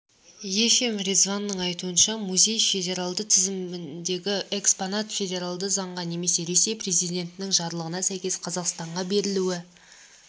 ефим резванның айтуынша музей федералды тізіміндегі экспонат федералды заңға немесе ресей президентінің жарлығына сәйкес қазақстанға берілуі